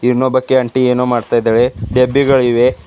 ಇನ್ನೊಬ್ಬಕಿ aunty ಏನೋ ಮಾಡ್ತಿದ್ದಾಳೆ ಡಬ್ಬಿಗಳಿವೆ.